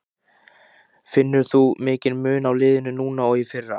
Finnur þú mikinn mun á liðinu núna og í fyrra?